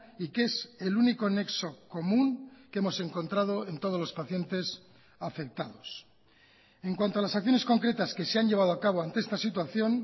y que es el único nexo común que hemos encontrado en todos los pacientes afectados en cuanto a las acciones concretas que se han llevado a cabo ante esta situación